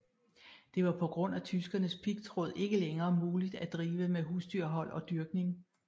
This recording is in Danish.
Det var på grund af tyskernes pigtråd ikke længere muligt at drive med husdyrhold og dyrkning